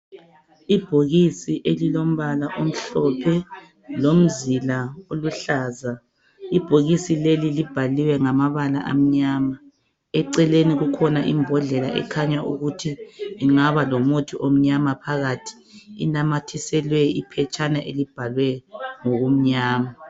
Ibhokisi elilombala omhlophe lomzila oluhlaza, ibhokisi leli libhalwe ngamabala amnyama. Eceleni kukhona imbodlela ekhanya ukuthi ingaba lomuthi omnyama phakathi inanyathiselwe iphetshana elibhalwe ngokumnyama.